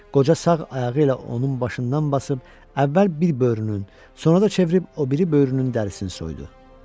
Qoca sağ ayağı ilə onun başından basıb əvvəl bir böyrünün, sonra da çevirib o biri böyrünün dərisini soydu.